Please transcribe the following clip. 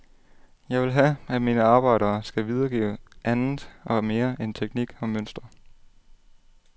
Jeg vil have, at mine arbejder skal videregive an det og mere end teknik og mønster.